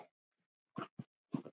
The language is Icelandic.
Hvernig getur slíkt gerst?